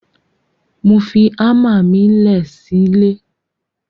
Mo fi àmà mi lẹ sí lẹ.